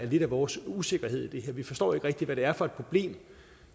lidt af vores usikkerhed i det her vi forstår ikke rigtig hvad det er for et problem